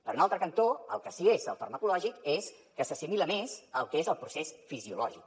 per un altre cantó el que sí és el farmacològic és que s’assimila més al que és el procés fisiològic